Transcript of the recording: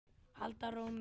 halda rónni.